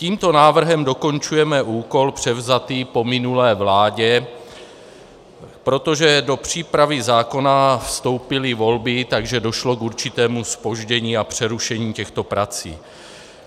Tímto návrhem dokončujeme úkol převzatý po minulé vládě, protože do přípravy zákona vstoupily volby, takže došlo k určitému zpoždění a přerušení těchto prací.